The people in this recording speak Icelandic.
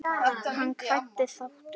Hann kvaddi sáttur.